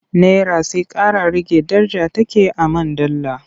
Nera sai ƙara rage daraja take a man dala.